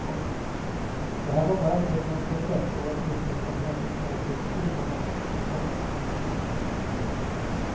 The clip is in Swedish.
Det här var bara kulmen på ett trettioårigt missunnsamhetens nålstickskrig mot honom. punkt